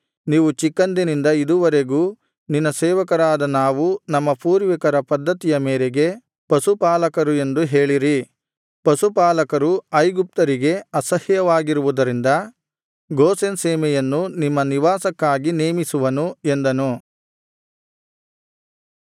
ನೀವು ಚಿಕ್ಕಂದಿನಿಂದ ಇದುವರೆಗೂ ನಿನ್ನ ಸೇವಕರಾದ ನಾವು ನಮ್ಮ ಪೂರ್ವಿಕರ ಪದ್ಧತಿಯ ಮೇರೆಗೆ ಪಶುಪಾಲಕರು ಎಂದು ಹೇಳಿರಿ ಪಶುಪಾಲಕರು ಐಗುಪ್ತರಿಗೆ ಅಸಹ್ಯವಾಗಿರುವುದರಿಂದ ಗೋಷೆನ್ ಸೀಮೆಯನ್ನು ನಿಮ್ಮ ನಿವಾಸಕ್ಕಾಗಿ ನೇಮಿಸುವನು ಎಂದನು